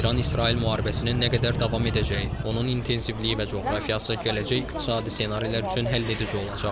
İran-İsrail müharibəsinin nə qədər davam edəcəyi, onun intensivliyi və coğrafiyası gələcək iqtisadi ssenarilər üçün həlledici olacaq.